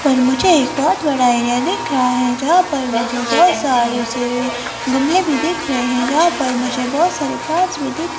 पर मुझे एक बहोत बड़ा एरिया दिख रहा है जहां पर मुझे बहोत सारे से गमले भी दिख रहे हैं जहां पर मुझे बहोत सारे फ्लावर्स भी दिख--